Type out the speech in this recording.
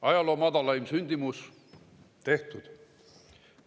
Ajaloo madalaim sündimus – tehtud.